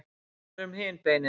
hvað verður um hin beinin